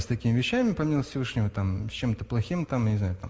с такими вещами помимо всевышнего там с чем-то плохим там я не знаю там